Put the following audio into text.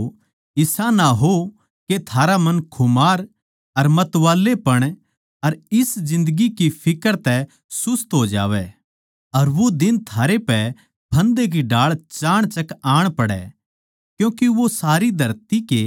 इस करकै चौकन्ने रहियो इसा ना हो के थारा मन खुमार अर मतवालापण अर इस जिन्दगी की फिक्र तै सुस्त हो जावै अर वो दिन थारै पै फन्दे की ढाळ चाणचक आण पड़ै